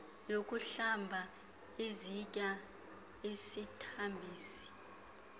yokuhlamba izitya isithambisi